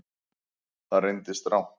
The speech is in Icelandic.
Það reyndist rangt